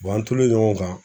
an tolen ɲɔgɔn kan